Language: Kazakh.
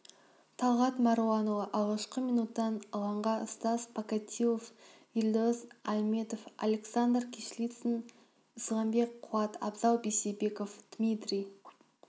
талғат маруанұлы алғашқы минуттан алаңға стас покатилов елдос аіметов александр кислицын исламбек қуат абзал бейсебеков дмитрий